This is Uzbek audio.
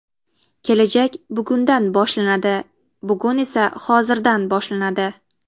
Kelajak bugundan boshlanadi, bugun esa hozirdan boshlanadi.